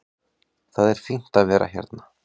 Það er fínt að vera hérna.